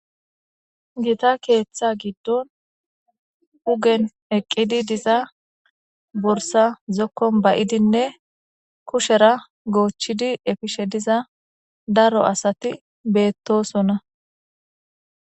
Gita keeththa giddon ogen eqqidi diza borssa zokkon ba'idinne, kushera goochchidi efishe diza daro asati beetosona.